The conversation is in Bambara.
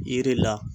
Yiri la